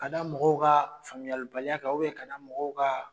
Ka da mɔgɔw ka faamuyalibaliya kan ka da m mɔgɔw ka